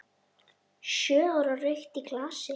Sjö ára rautt í glasi.